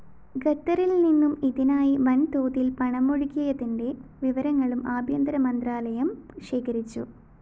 ഖത്തറില്‍നിന്നും ഇതിനായി വന്‍തോതില്‍ പണമൊഴുകിയതിന്റെ വിവരങ്ങളും ആഭ്യന്തര മന്ത്രാലയം ശേഖരിച്ചു